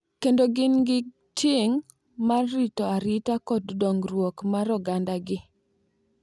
kendo gin gi ting’ mar rito arita kod dongruok mar ogandagi.